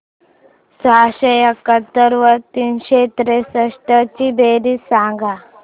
सहाशे एकाहत्तर व तीनशे त्रेसष्ट ची बेरीज सांगा